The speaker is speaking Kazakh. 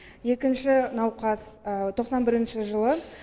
екінші науқас тоқсан бірінші жылы